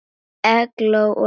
Eygló og Reynir.